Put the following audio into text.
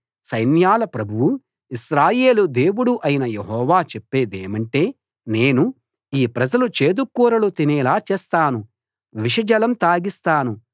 సైన్యాల ప్రభువు ఇశ్రాయేలు దేవుడు అయిన యెహోవా చెప్పేదేమంటే నేను ఈ ప్రజలు చేదుకూరలు తినేలా చేస్తాను విషజలం తాగిస్తాను